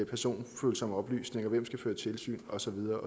personfølsomme oplysninger hvem der skal føre tilsyn og så videre